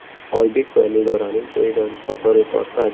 Oybek va Nigoraning to‘yidan fotoreportaj.